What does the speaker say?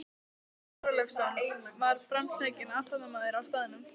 Páll Þorleifsson var framsækinn athafnamaður á staðnum.